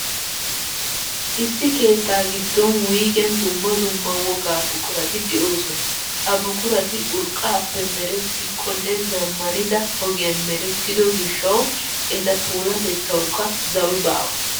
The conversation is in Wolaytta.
Issi keettaa giddon wuygen dumma dumma wogaa buqurati de'oosona. Ha buqurati urqqaappe merettikkonne zammanida ogiyan merettido gishshawu, eta puulaatettawukka zawi baawa.